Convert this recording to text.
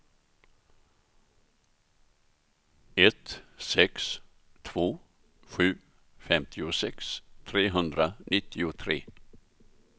ett sex två sju femtiosex trehundranittiotre